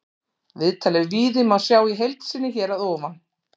Viðtalið við Víði má sjá í heild sinni hér að ofan.